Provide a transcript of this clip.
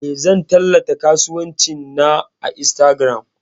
Eh, zan tallata kasuwancin na a Instagram.